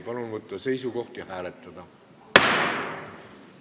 Palun võtta seisukoht ja hääletada!